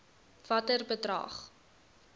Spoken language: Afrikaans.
watter bedrag